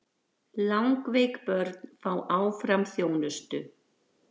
Langveik börn fá áfram þjónustu